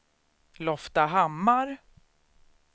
Loftahammar